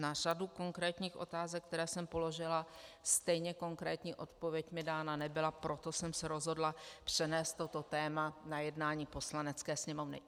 Na řadu konkrétních otázek, které jsem položila, stejně konkrétní odpověď mi dána nebyla, proto jsem se rozhodla přenést toto téma na jednání Poslanecké sněmovny.